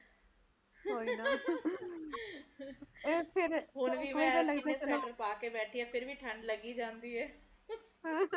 ਇਥੇ ਤੇ ਹੁਣ ਵੀ ਮੈਂ ਸਵੈਟਰ ਪਾ ਕੇ ਬੈਠੀ ਆ ਫੇਰ ਵੀ ਠੰਡ ਲੱਗੀ ਜਾਂਦੀ ਐ